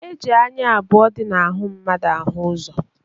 E ji anya abụọ dị n'ahụ mmadụ ahụ-ụzọ.